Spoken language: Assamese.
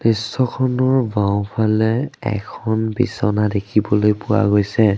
দৃশ্যখনৰ বাওঁফালে এখন বিছনা দেখিব পোৱা গৈছে।